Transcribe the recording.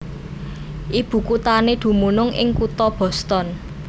Ibukuthané dumunung ing kutha Boston